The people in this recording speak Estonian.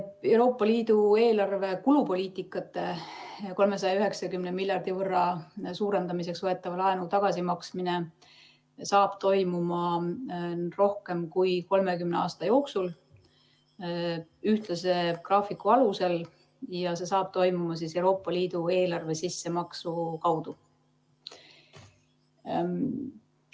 Euroopa Liidu eelarve kulupoliitikate 390 miljardi võrra suurendamiseks võetava laenu tagasimaksmine toimub rohkem kui 30 aasta jooksul ühtlase graafiku alusel ja see toimub Euroopa Liidu eelarve sissemaksu kaudu.